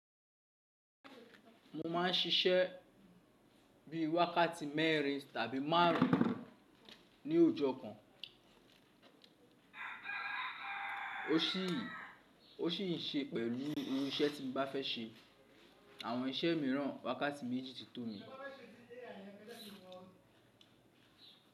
Mo máa ń ṣiṣẹ́ bí i wákàtí mẹ́rin tàbí márùn-ún ní ọjọ́ kan. O sì ń ṣe pẹ̀lú irú iṣẹ́ tí mo bá fẹ́ ṣe. Àwọn iṣẹ́ míràn, wákàtí méjì ti tò mi.